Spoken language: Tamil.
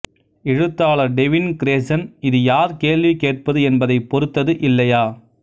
எழுத்தாளர் டெவின் கிரேசன் இது யார் கேள்வி கேட்பது என்பதைப் பொருத்தது இல்லையா